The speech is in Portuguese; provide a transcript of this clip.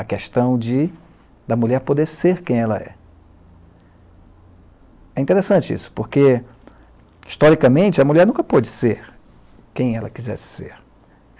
a questão de da mulher poder ser quem ela é. É interessante isso, porque, historicamente, a mulher nunca pôde ser quem ela quisesse ser.